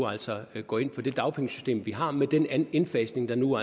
altså nu går ind for det dagpengesystem vi har med den indfasning der nu